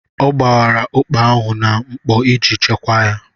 Ọ gbara ụkpà ahụ na mkpọ iji chekwaa ya.